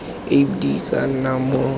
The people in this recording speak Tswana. ap di ka nna mo